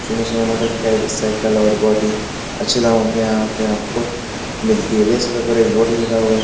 सुन्दर सुन्दर मोटरसाइकिल और बहुत ही अच्छे दामो पर यहाँ पर आपको मिलती है देख सकते है ऊपर एक बोर्ड लगा हुआ ।